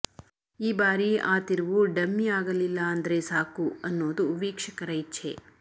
ಈ ಬಾರಿ ಆ ತಿರುವು ಡಮ್ಮಿ ಆಗಲಿಲ್ಲ ಅಂದ್ರೆ ಸಾಕು ಅನ್ನೋದು ವೀಕ್ಷಕರ ಇಚ್ಛೆ